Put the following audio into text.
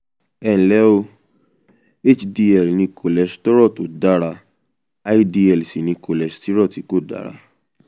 ẹnlẹ́ o hdl ni kòlẹ́sítérò tó dára ldl sì ni kòlẹ́sítérò tí kò dára